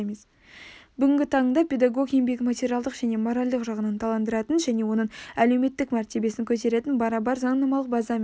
бүгінгі таңда педагог еңбегін материалдық және моральдық жағынан ынталандыратын және оның әлеуметтік мәртебесін көтеретін барабар заңнамалық база мен